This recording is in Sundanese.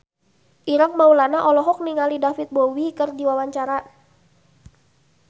Ireng Maulana olohok ningali David Bowie keur diwawancara